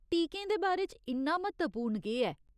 टीकें दे बारे च इन्ना म्हत्तवपूर्ण केह् ऐ ?